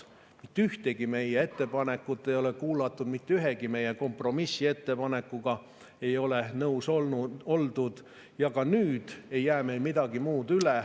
Mitte ühtegi meie ettepanekut ei ole kuulatud, mitte ühegi meie kompromissettepanekuga ei ole nõus oldud ja nüüd ei jää meil midagi muud üle …